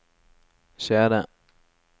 CD